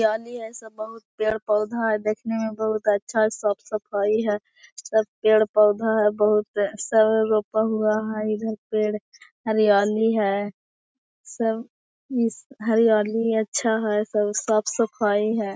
हरियाली हैसब बहोत पेड़पौधा हैं। देखने मै बहोत अच्छा साफ सफाई है। सब पेड़पौधा हैं बहोत हैं इधर पेड़ हरियाली हैं। सब हरियाली हैं अच्छा है सब साफ सफाई है।